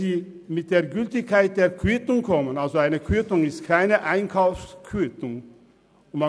Aber was die Gültigkeit der Quittung betrifft, weise ich darauf hin, dass es sich nicht um eine Einkaufsquittung handelt.